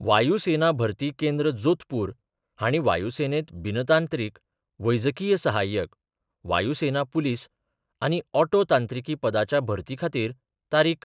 वायूसेना भरती केंद्र, जोधपूर हांणी वायूसेनेत बिनतांत्रिक, वैजकीय सहाय्यक, वायूसेना पुलीस आनी ऑटो तांत्रिकी पदांच्या भरती खातीर तारीख.